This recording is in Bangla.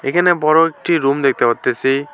এখানে বড় একটি রুম দেখতে পারতেসি।